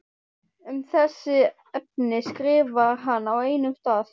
Um þessi efni skrifar hann á einum stað